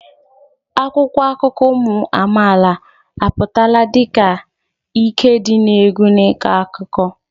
Akwụkwọ akụkọ ụmụ amaala apụtala dị ka ike dị egwu n'ịkọ akụkọ.